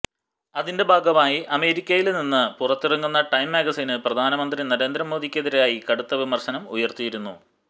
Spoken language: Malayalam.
അതിന്റെ ഭാഗമായി അമേരിക്കയില് നിന്ന് പുറത്തിറങ്ങുന്ന ടൈം മാഗസിന് പ്രധാനമന്ത്രി നരേന്ദ്ര മോദിക്കെതിരായി കടുത്ത വിമര്ശനം ഉയര്ത്തിയിരിക്കുന്നു